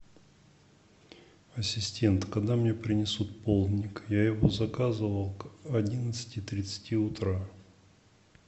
ассистент когда мне принесут полдник я его заказывал к одиннадцати тридцати утра